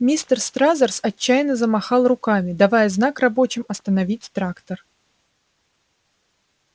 мистер стразерс отчаянно замахал руками давая знак рабочим остановить трактор